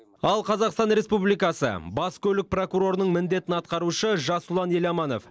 ал қазақстан республикасы бас көлік прокурорының міндетін атқарушы жасұлан еламанов